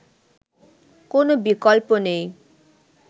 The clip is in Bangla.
কোন বিকল্প নেই